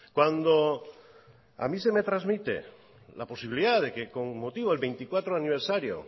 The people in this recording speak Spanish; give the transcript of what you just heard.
cuando a mí se me transmite la posibilidad de que con motivo del veinticuatro aniversario